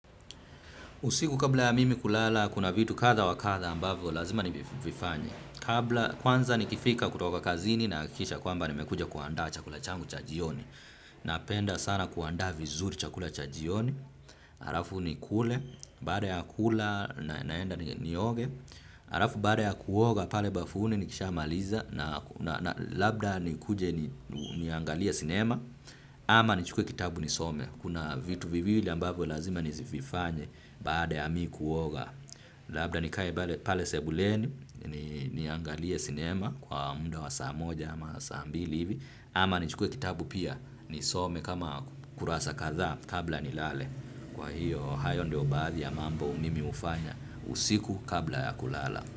Usiku kabla ya mimi kulala kuna vitu kadha wa kadha ambavyo lazima nivifanye. Kwanza nikifika kutoka kazini na hakikisha kwamba nimekuja kuandaa chakula changu cha jioni. Napenda sana kuandaa vizuri chakula cha jioni alafu nikule, baada ya kula na naenda nioge. Alafu baada ya kuoga pale bafuni nikisha maliza na labda nikuje niangalie sinema. Ama nichukue kitabu nisome. Kuna vitu viwili ambavyo lazima nizivifanye. Baada ya mi kuoga labda nikae pale sebuleni ni niangalie sinema kwa muda wa saa moja ama saa mbili hivi ama nichukue kitabu pia nisome kama kurasa kadhaa kabla nilale kwa hiyo hayo ndio baadhi ya mambo mimi hufanya kabla ya kulala.